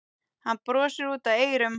Hann brosir út að eyrum.